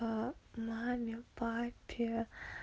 маме папе